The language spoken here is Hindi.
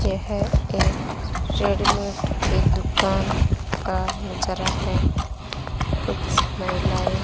यह एक रेडीमेड की दुकान का नजारा है कुछ महिलाएं --